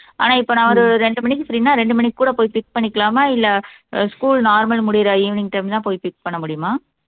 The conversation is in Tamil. ஆனா இப்ப நான் ஒரு ரெண்டு மணிக்கு free ன்னா ரெண்டு மணிக்கு கூட போய் pick பண்ணிக்கலாமா இல்லை ஆஹ் school normal முடியற evening time தான் போய் fix பண்ண முடியுமா